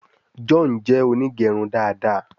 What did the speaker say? John jé Onigerun dá dá.